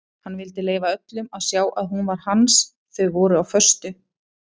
Hann vildi leyfa öllum að sjá að hún var hans þau voru á föstu.